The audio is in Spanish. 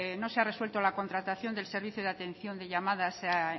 no se ha resuelto la contratación del servicio de atención de llamadas a